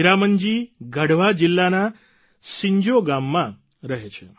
હીરામન જી ગઢવા જિલ્લાના સિંજો ગામમાં રહે છે